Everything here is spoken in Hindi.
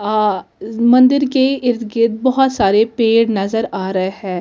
आ इस मंदिर के इर्द गिर्द बहुत सारे पेड़ नज़र आ रहे है दुर --